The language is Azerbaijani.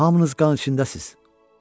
Hamınız qan içindəsiz.